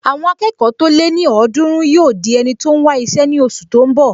Àwọn akẹ́kọ̀ọ́ tó lé ní ọ̀ọ́dúrún yóò di ẹni tó n wá iṣẹ́ ní oṣù tó n bọ̀